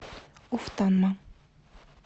уфтанма